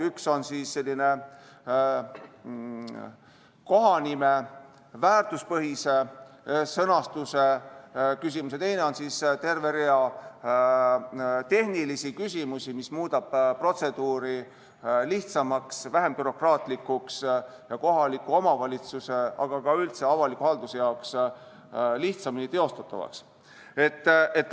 Üks on kohanime väärtuspõhise sõnastuse küsimus ja teiseks on terve rida tehnilisi küsimusi, mis muudavad protseduuri lihtsamaks, vähem bürokraatlikuks ja kohaliku omavalitsuse jaoks, aga ka üldse avalikus halduses lihtsamini teostatavaks.